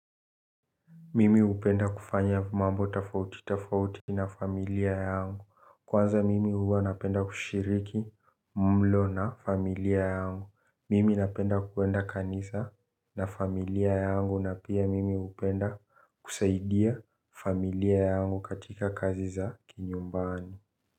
Mimi hupenda kufanya mambo tofauti, tofauti na familia yangu. Kwanza mimi huwa napenda kushiriki mlo na familia yangu. Mimi napenda kwenda kanisa na familia yangu na pia mimi hupenda kusaidia familia yangu katika kazi za kinyumbani.